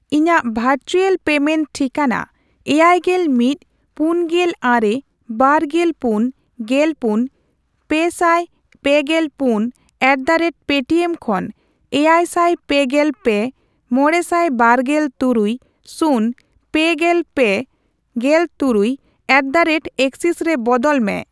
ᱤᱧᱟᱜ virtual payment ᱴᱷᱤᱠᱟᱹᱱᱟ ᱮᱭᱟᱭᱜᱮᱞ ᱢᱤᱫ, ᱯᱩᱱᱜᱮᱞ ᱟᱨᱮ, ᱵᱟᱨᱜᱮᱞ ᱯᱩᱱ, ᱜᱮᱞᱯᱩᱱ, ᱯᱮᱥᱟᱭ ᱯᱮᱜᱮᱞ ᱯᱩᱱ ᱮᱴᱫᱟᱨᱮᱴᱯᱮᱴᱤᱮᱢ ᱠᱷᱚᱱ ᱮᱭᱟᱭᱥᱟᱭ ᱯᱮᱜᱮᱞ ᱯᱮ, ᱢᱚᱲᱮᱥᱟᱭ ᱵᱟᱨᱜᱮᱞ ᱛᱩᱨᱩᱭ, ᱥᱩᱱ, ᱯᱮᱜᱮᱞ ᱯᱮ, ᱜᱮᱞᱛᱩᱨᱩᱭ ᱮᱴᱫᱟᱨᱮᱴᱮᱠᱥᱤᱥ ᱨᱮ ᱵᱚᱫᱚᱞ ᱢᱮ ᱾